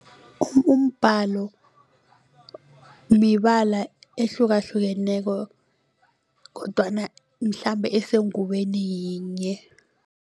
Umbhalo mibala ehlukahlukeneko kodwana mhlambe esengubeni yinye.